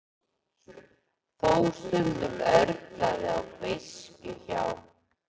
Þó stundum örlaði á beiskju hjá